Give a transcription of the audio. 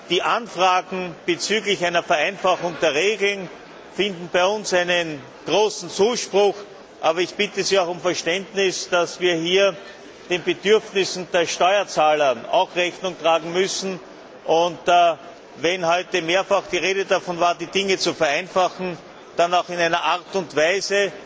Die Anfragen bezüglich einer Vereinfachung der Regeln finden bei uns großen Zuspruch, aber ich bitte Sie auch um Verständnis, dass wir hier auch den Bedürfnissen der Steuerzahler Rechnung tragen müssen, und wenn heute mehrfach die Rede davon war, die Dinge zu vereinfachen, dann auch in einer Art und Weise,